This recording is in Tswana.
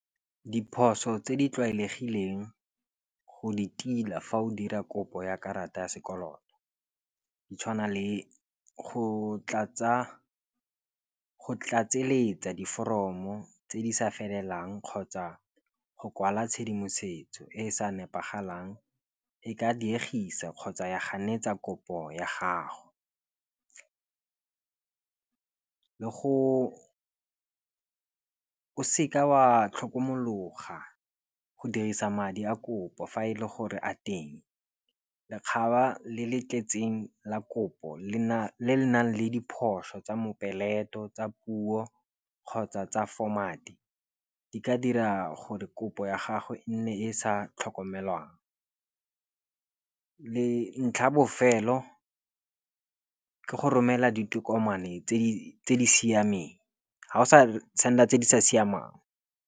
Diphoso tse di tlwaelegileng go di tila fa o dira kopo ya karata ya sekoloto di tshwana le go tlatsa go tlatseletsa diforomo tse di sa felelang, kgotsa go kwala tshedimosetso e e sa nepagalang e ka diegisa kgotsa ya ganetsa kopo ya gago. Le go o seka wa tlhokomologa go dirisa madi a kopo fa e le gore a teng lekgaba le le tletseng la kopo le nang le diphoso tsa mopeleto tsa puo kgotsa tsa format-e di ka dira gore kopo ya gagwe e nne e sa tlhokomelwang. Le ntlha bofelo ke go romela ditokomane tse di siameng, ha o sa senda tse di sa siamang.